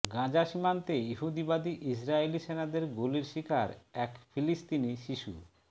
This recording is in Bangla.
গাজা সীমান্তে ইহুদিবাদী ইসরাইলি সেনাদের গুলির শিকার এক ফিলিস্তিনি শিশু